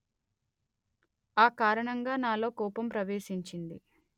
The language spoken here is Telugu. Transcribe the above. ఆ కారణంగా నాలో కోపం ప్రవేశిచింది